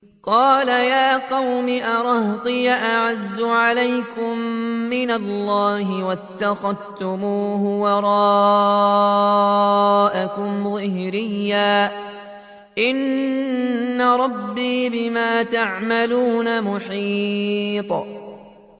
قَالَ يَا قَوْمِ أَرَهْطِي أَعَزُّ عَلَيْكُم مِّنَ اللَّهِ وَاتَّخَذْتُمُوهُ وَرَاءَكُمْ ظِهْرِيًّا ۖ إِنَّ رَبِّي بِمَا تَعْمَلُونَ مُحِيطٌ